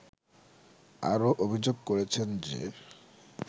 আরও অভিযোগ করেছেন যে